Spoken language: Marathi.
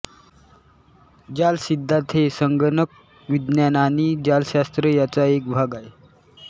जालसिद्धांत हे संगणकविज्ञान आणि जालशास्त्र यांचा एक भाग अहे